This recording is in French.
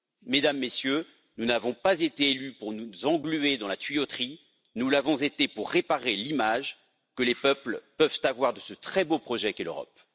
Mesdames, Messieurs, nous n'avons pas été élus pour nous engluer dans la tuyauterie, nous l'avons été pour réparer l'image que les peuples peuvent avoir de ce très beau projet qu'est l'Europe.